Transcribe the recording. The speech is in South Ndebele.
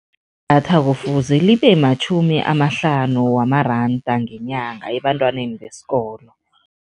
Datha kufuze libe matjhumi amahlanu wamaranda ngenyanga ebantwaneni besikolo.